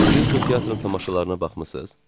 "Siz bu teatrın tamaşalarına baxmısınız?"